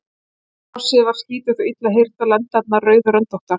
Hrossið var skítugt og illa hirt og lendarnar rauðröndóttar.